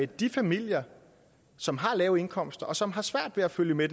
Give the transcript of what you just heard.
de familier som har lave indkomster og som har svært ved at følge med